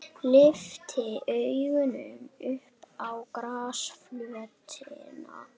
Lyfti augunum upp á grasflötina.